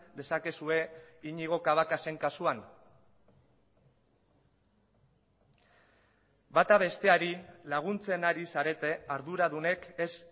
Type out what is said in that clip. dezakezue iñigo cabacasen kasuan bata besteari laguntzen ari zarete arduradunek ez